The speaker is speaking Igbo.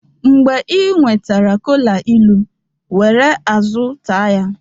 mgbe ị nwetara kola ilu, were azụ ta ya